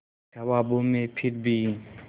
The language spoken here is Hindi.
ख्वाबों में फिर भी